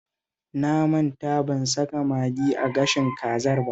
Na manta ban saka magi a gashin kazar ba